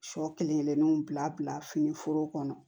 Sɔ kelen kelenninw bila bila fini foro kɔnɔ